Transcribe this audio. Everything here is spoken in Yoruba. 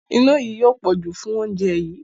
Iná yí yóò pọ̀jù fún oúnjẹ yí.